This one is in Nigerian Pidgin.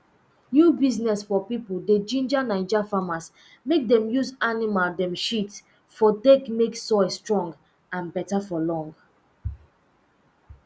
new business um pipo dey ginger naija farmers mek dem use animal um shit um take mek soil strong and beta for long